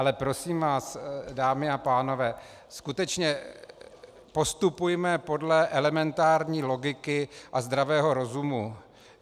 Ale prosím vás, dámy a pánové, skutečně postupujme podle elementární logiky a zdravého rozumu.